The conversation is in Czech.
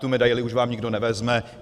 Tu medaili už vám nikdo nevezme.